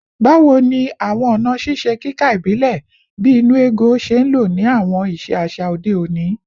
Bawo ni awọn ọna ṣiṣe kika ibile, bii “nnu ego,” ṣe nlo ni awọn iṣe aṣa ode oni?